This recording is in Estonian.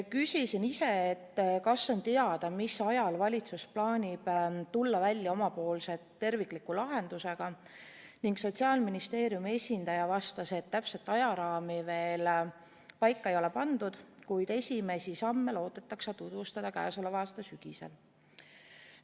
Küsisin ise, kas on teada, mis ajal valitsus plaanib välja tulla omapoolse tervikliku lahendusega, ning Sotsiaalministeeriumi esindaja vastas, et täpset ajaraami veel paika ei ole pandud, kuid esimesi samme loodetakse tutvustada käesoleva aasta sügisel.